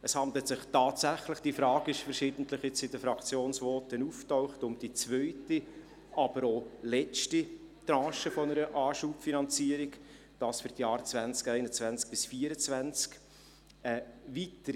Es handelt sich tatsächlich um die zweite, aber auch letzte Tranche einer Anschubfinanzierung, und zwar für die Jahre 2021–2024.